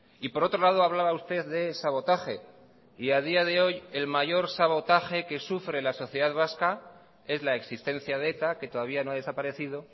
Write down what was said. y por otro lado hablaba usted de sabotaje y a día de hoy el mayor sabotaje que sufre la sociedad vasca es la existencia de eta que todavía no ha desaparecido